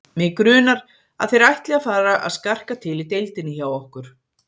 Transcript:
Mig grunar, að þeir ætli að fara að skarka til í deildinni hjá okkur